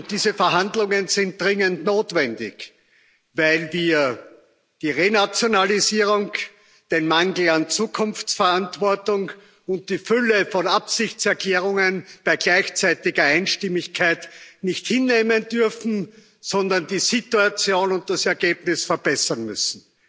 Diese Verhandlungen sind dringend notwendig, weil wir die Renationalisierung, den Mangel an Zukunftsverantwortung und die Fülle von Absichtserklärungen bei gleichzeitiger Einstimmigkeit nicht hinnehmen dürfen, sondern die Situation und das Ergebnis verbessern müssen.